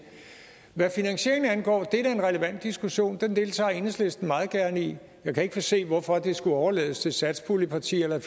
hvad finansieringen angår er det da en relevant diskussion og den deltager enhedslisten meget gerne i jeg kan ikke se hvorfor det skulle overlades til satspuljepartierne